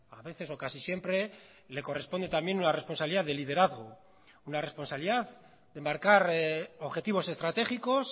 a veces o casi siempre le corresponde también una responsabilidad de liderazgo una responsabilidad de marcar objetivos estratégicos